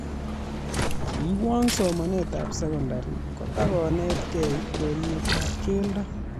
Kiiwong somanetab secondary kotakonetikei urerietab keldo